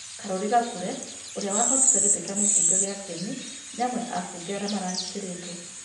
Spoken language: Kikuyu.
Karuri Gakure ũrĩa wahotĩre gĩtĩ kĩa mũbũnge kĩa kĩenĩ nĩ amwe a abũnge arĩa marahĩngĩrĩtwo